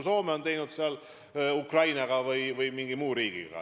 Soome on sellise lepingu teinud Ukrainaga ja ka mõne muu riigiga.